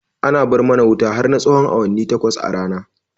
Ana bar mana wuta har na tsahon awanni takwas a rana